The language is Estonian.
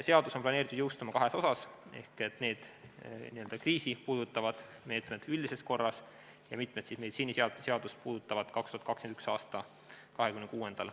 Seadus on planeeritud jõustuma kahes osas, n-ö kriisi puudutavad meetmed üldises korras ja mitmed meditsiiniseadme seadust puudutavad meetmed 2021. aasta 26. mail.